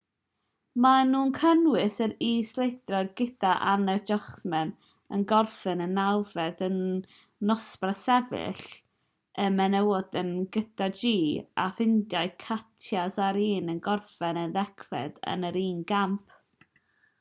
maen nhw'n cynnwys yr iseldiroedd gydag anna jochemsen yn gorffen yn nawfed yn nosbarth sefyll y menywod yn y super-g ddoe a'r ffindir gyda katja saarinen yn gorffen yn ddegfed yn yr un gamp